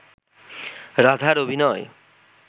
রাধার অভিনয়